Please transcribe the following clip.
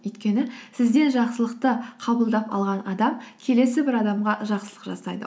өйткені сізден жақсылықты қабылдап алған адам келесі бір адамға жақсылық жасайды